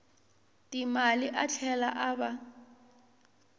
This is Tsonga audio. timali a tlhela a va